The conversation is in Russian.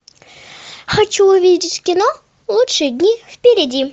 хочу увидеть кино лучшие дни впереди